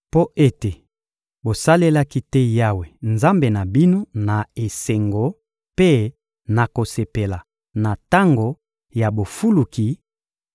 Mpo ete bosalelaki te Yawe, Nzambe na bino, na esengo mpe na kosepela na tango ya bofuluki;